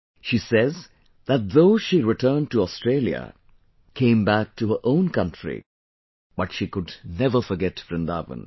She says that though she returned to Australia...came back to her own country...but she could never forget Vrindavan